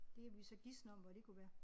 Det kan vi så gisne om hvor det kunne være